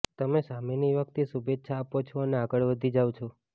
તમે સામેની વ્યક્તિ શુભેચ્છા આપો છો અને આગળ વધી જાવ છો